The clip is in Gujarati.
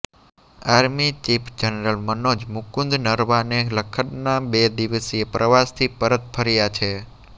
army chief general Manoj Mukund Naravane લદખના બે દિવસીય પ્રવાસથી પરત ફર્યા છે